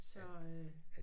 Så øh